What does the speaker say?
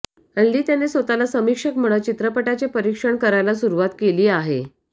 हल्ली त्याने स्वतःला समीक्षक म्हणत चित्रपटाचे परीक्षण करायला सुरुवात केली आहे